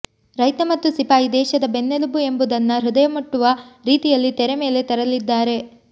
ರೈತ ಮತ್ತು ಸಿಪಾಯಿ ದೇಶದ ಬೆನ್ನೆಲುಬು ಎಂಬುದನ್ನ ಹೃದಯಮುಟ್ಟುವ ರೀತಿಯಲ್ಲಿ ತೆರೆ ಮೇಲೆ ತರಲಿದ್ದಾರೆ